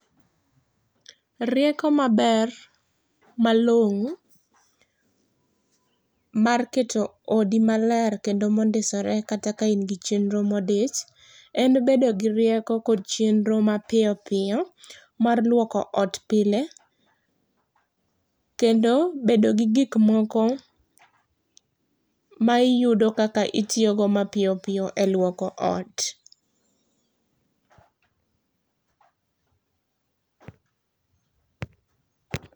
Rieko maber malongo mar keto odi maler kendo mondisore kata ka in gi chenro modich en bedo gi rieko kod chenro mapiyo piyo mar luoko ot pile kendo bedo gi gik moko ma iyudo kaka itiyo go mapiyo piyo e luoko ot